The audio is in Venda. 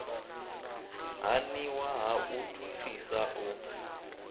haniwa ha u thuthisa u